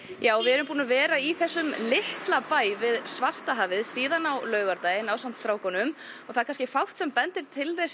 já við erum búin að vera í þessum litla bæ síðan á laugardaginn og það er fátt sem bendir til þess